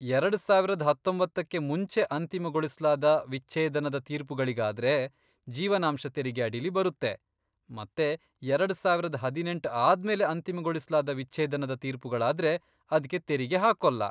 ಎರಡ್ ಸಾವರದ್ ಹತ್ತೊಂಬತ್ತಕ್ಕೆ ಮುಂಚೆ ಅಂತಿಮಗೊಳಿಸ್ಲಾದ ವಿಚ್ಛೇದನದ ತೀರ್ಪುಗಳಿಗಾದ್ರೆ, ಜೀವನಾಂಶ ತೆರಿಗೆ ಅಡಿಲಿ ಬರುತ್ತೆ ಮತ್ತೆ ಎರಡ್ ಸಾವರದ್ ಹದಿನೆಂಟ್ ಆದ್ಮೇಲೆ ಅಂತಿಮಗೊಳಿಸ್ಲಾದ ವಿಚ್ಛೇದನದ ತೀರ್ಪುಗಳಾದ್ರೆ ಅದ್ಕೆ ತೆರಿಗೆ ಹಾಕೋಲ್ಲ.